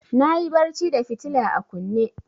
Na yi barci da fitila a kunne.